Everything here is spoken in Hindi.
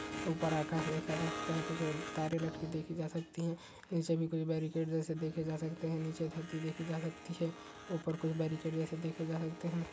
ऊपर आकाश देखा जा सकता हैकुछ तारे लटके देखे जा सकती हैं इन सभी को बेरीकैड जैसे देखे जा सकते है नीचे धरती देखी जा सकती है ऊपर कुछ बेरीकैड जैसे देखे जा सकते है।